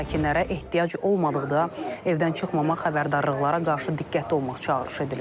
Sakinlərə ehtiyac olmadıqda evdən çıxmamaq, xəbərdarlıqlara qarşı diqqətli olmaq çağırış edilib.